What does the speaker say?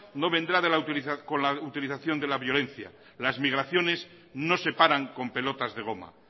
no vendrá con la utilización de la violencia las migraciones no se paran con pelotas de goma